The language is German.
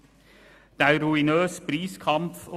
Der ruinöse Preiskampf;